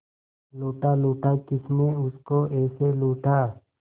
लूटा लूटा किसने उसको ऐसे लूटा